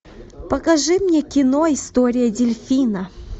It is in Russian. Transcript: покажи мне кино история дельфина